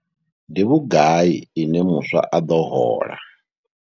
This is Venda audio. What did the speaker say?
Ndi vhugai ine muswa a ḓo hola yone?